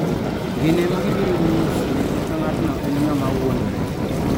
Gin ema gibiro nyisi ka ng'atno en ng'ama wuondore.